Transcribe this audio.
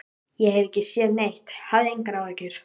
Ég hef ekki séð neitt, hafðu engar áhyggjur.